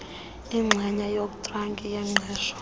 inxenye yokontraki yengqesho